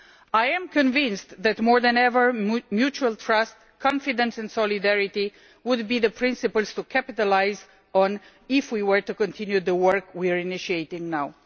I am convinced that, more than ever, mutual trust, confidence and solidarity will be the principles to capitalise on if we are to continue the work we are initiating now.